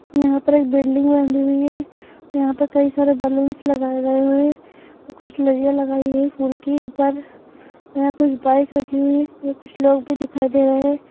यहाँ पर एक बिल्डिंग बंधी हुई है यहाँ पर कई सारे बलून्स लगाए गए हुए है कुछ लड़ियाँ लगाई गई है फूल की ऊपर यहां कुछ बाइक रखी हुई हैं कुछ लोग भी दिखाई दे रहे।